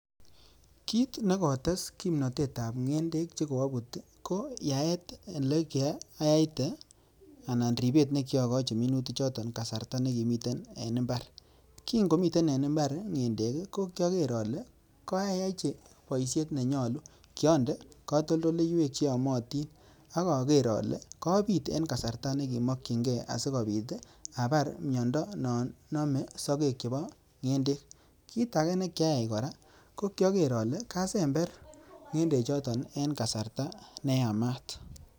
Kiit ne kotes kimnotetab ngendek che koabut ii, ko yaet ele kiyaite anan ribet ne kiokochi minutichoton kasarta ne kimiten en imbar, kii ngomite en imbar ngendek ii ko kioker ale koayochi boisiet ne nyolu, kiande katoldoleiwek che yomotin ak aker ale kapit en kasarta ne kimokchinkei asikobit ii abar miondo non nome sokek chebo ngendek, kiit ake ne kiayai kora, ko kyaker ale kasember ngendechoton en kasarta ne yamat.